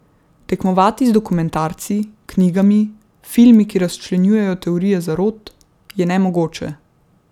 Tekmovati z dokumentarci, knjigami, filmi, ki razčlenjujejo teorije zarot, je nemogoče.